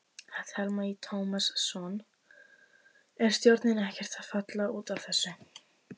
Telma Tómasson: Er stjórnin ekkert að falla út af þessu?